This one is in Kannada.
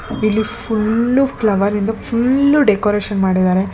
ಇಲ್ಲಿ ಫುಲ್ಲು ಫ್ಲವರ್ ಇಂದ ಫುಲ್ಲು ಡೆಕೋರೇಷನ್ ಮಾಡಿದ್ದಾರೆ.